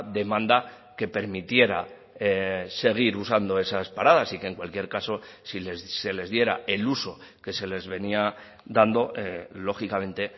demanda que permitiera seguir usando esas paradas y que en cualquier caso si se les diera el uso que se les venía dando lógicamente